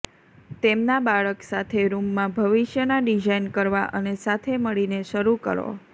તેમના બાળક સાથે રૂમમાં ભવિષ્યના ડિઝાઇન કરવા અને સાથે મળીને શરૂ કરો